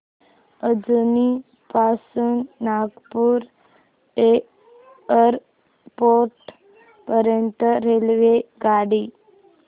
अजनी पासून नागपूर एअरपोर्ट पर्यंत रेल्वेगाडी